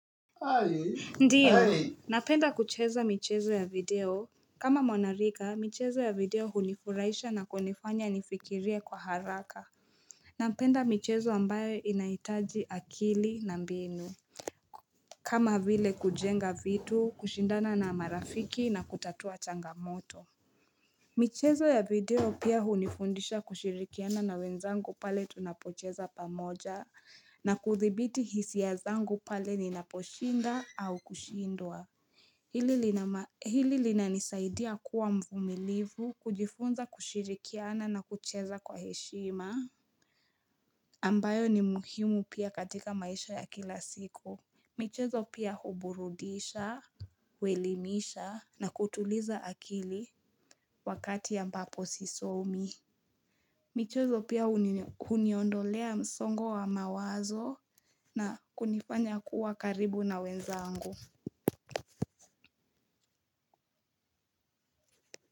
Ndiyo, napenda kucheza michezo ya video. Kama mwanarika, michezo ya video hunifuraisha na kunifanya nifikirie kwa haraka. Napenda michezo ambayo inaitaji akili na mbinu. Kama vile kujenga vitu, kushindana na marafiki na kutatua changamoto. Michezo ya video pia hunifundisha kushirikiana na wenzangu pale tunapocheza pamoja na kudhibiti hisi ya zangu pale ninaposhinda au kushindwa Hili linanisaidia kuwa mvumilivu kujifunza kushirikiana na kucheza kwa heshima ambayo ni muhimu pia katika maisha ya kila siku michezo pia huburudisha, huelimisha na kutuliza akili Wakati ya ambapo sisomi michezo pia uniondolea msongo wa mawazo na kunifanya kuwa karibu na wenzaangu.